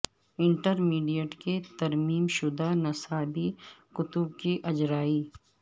inter mediate کے ترمیم شدہ نصابی کتب کی اجرائی